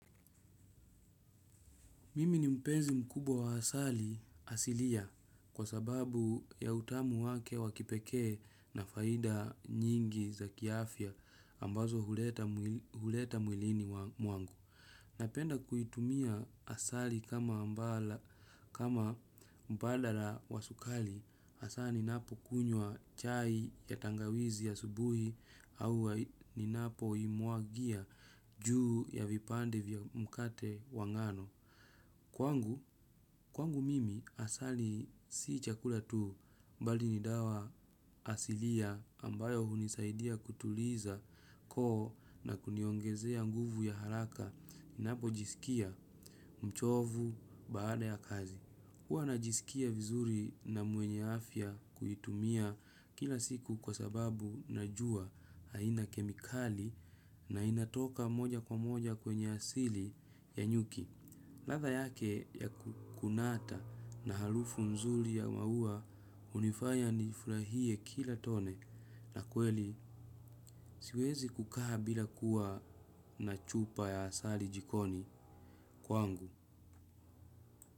Mimi ni mpenzi mkubwa wa asali asilia kwa sababu ya utamu wake wa kipekee na faida nyingi za kiafya ambazo huleta mwilini wangu. Napenda kuitumia asali kama mbadala wa sukari hasa ninapo kunywa chai ya tangawizi asubuhi au ninapoimwagia juu ya vipande vya mkate wa ngano. Kwangu, kwangu mimi asali si chakula tu bali ni dawa asilia ambayo hunisaidia kutuliza koo na kuniongezea nguvu ya haraka ninapojisikia mchovu baada ya kazi. Huwa najisikia vizuri na mwenye afya kuitumia kila siku kwa sababu najua haina kemikali na inatoka moja kwa moja kwenye asili ya nyuki. Ladha yake ya kukunata na harufu nzuri ya maua hunifanya nifurahie kila tone na kweli siwezi kukaa bila kuwa na chupa ya asali jikoni kwangu.